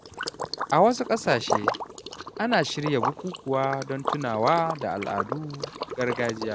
A wasu ƙasashe, ana shirya bukukuwa don tunawa da al’adun gargajiya.